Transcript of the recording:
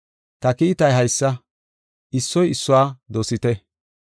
Ta kiitay haysa: issoy issuwa dosite.